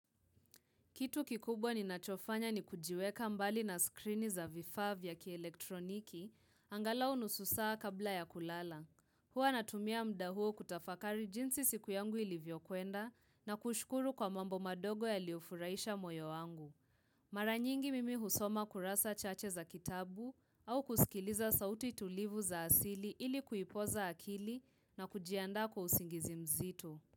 Kitu kikubwa ninachofanya ni kujiweka mbali na skrini za vifaa vya kielektroniki, angalau nusu saa kabla ya kulala. Huwa natumia muda huo kutafakari jinsi siku yangu ilivyokuenda na kushukuru kwa mambo madogo yaliyo furaisha moyo wangu. Mara nyingi mimi husoma kurasa chache za kitabu au kusikiliza sauti tulivu za asili ili kuipoza akili na kujiandaa kwa usingizi mzito.